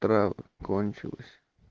трава кончилась